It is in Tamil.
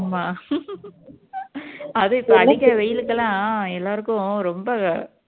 அதும் இப்போ அடிக்கீற வெயிலுக்கெல்லாம் எல்லாருக்கும் ரொம்ப